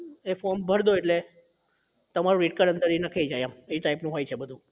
એ form ભરદો એટલે તમારો rate card અંદર એ નખાઈ જાય એમ એ type નું હોય છે એ બધું